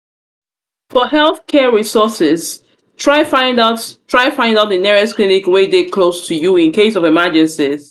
for health care resources try find out try find out di nearest clinic wey de close to you in case of emergencies